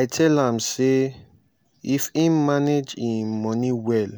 i tell am sey if im manage im money well